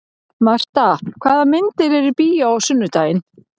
Marta, hvaða myndir eru í bíó á sunnudaginn?